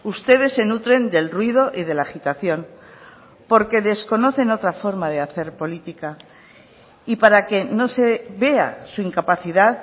ustedes se nutren del ruido y de la agitación porque desconocen otra forma de hacer política y para que no se vea su incapacidad